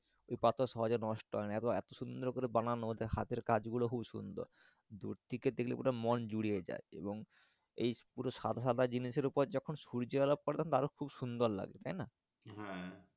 ওই পাথর সহজে নষ্ট হয় না এত সুন্দর করে বানানো ওদের হাতের কাজ গুলো খুব সুন্দর দূর থেকে দেখলে মন জুড়িয়ে যাই এবং এই পুরো সাদা সাদা জিনিস ওপরে যখন সূর্য আলো পড়বে তখন দারুন সুন্দর লাগবে তাই না হ্যাঁ।